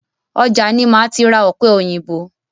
Ọjà ni máa ti ra ọ̀pẹ òyìnbó.